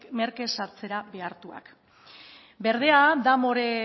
merke saltzera behartuak berdea da more